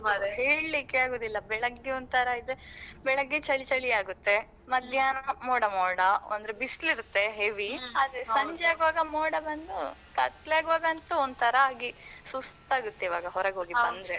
ಹಾ ಹೌದು ಮಾರ್ರೆ ಹೇಳಿಕ್ಕೆ ಆಗುದಿಲ್ಲ. ಬೆಳಿಗ್ಗೆ ಒಂತರ ಇದ್ರೆ, ಬೆಳಿಗ್ಗೆ ಚಳಿಚಳಿ ಆಗುತ್ತೆ. ಮಧ್ಯಾಹ್ನ ಮೋಡ ಮೋಡ. ಅಂದ್ರೆ ಬಿಸ್ಲಿರುತ್ತೆ heavy ಆದ್ರೆ ಸಂಜೆ ಆಗುವಾಗ ಮೋಡ ಬಂದು ಕತ್ಲೇ ಆಗುವಾಗಂತೂ ಒಂತರ ಆಗಿ ಸುಸ್ತಾಗುತ್ತೆ ಇವಾಗ ಹೊರಗೋಗಿ ಬಂದ್ರೆ.